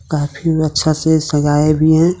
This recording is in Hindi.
काफी अच्छा से सजाये हुए हैं।